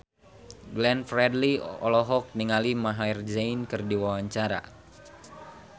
Glenn Fredly olohok ningali Maher Zein keur diwawancara